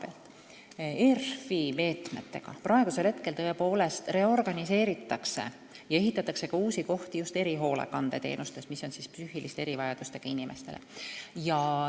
ERF-i meetmetega praegusel hetkel tõepoolest reorganiseeritakse ja ehitatakse ka uusi kohti just erihoolekandeteenusteks, mis on psüühiliste erivajadustega inimestele.